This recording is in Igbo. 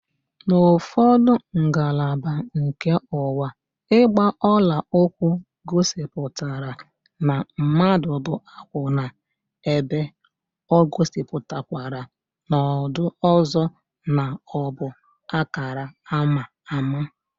N'ufodu ngalaba nke ụwa, ịgba ọla ụkwụ gosipụtara na mmadụ bụ akwụna, ebe o gosipụtakwara n'odo ọzọ na ọbụ akara ama ámá